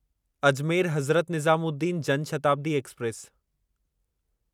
Ajmer Hazrat Nizamuddin Jan Shatabdi express